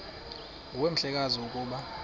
nguwe mhlekazi ukuba